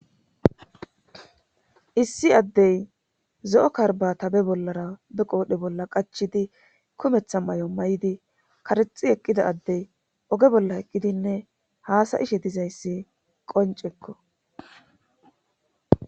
Issi addey zo'o karba tabe bollara be qoodhe bolla qachidi kumetha may7o may7di karexi eqqida addey oge bolla eqqidinne haasayishe dizayssi qoncekko.